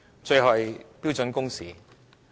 最後是標準工時。